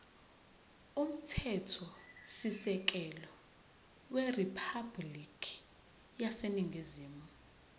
umthethosisekelo weriphabhulikhi yaseningizimu